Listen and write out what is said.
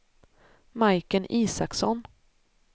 Majken Isaksson